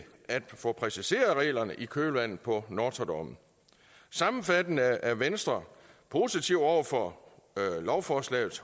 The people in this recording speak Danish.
at få præciseret reglerne i kølvandet på nortra dommen sammenfattende er venstre positive over for lovforslagets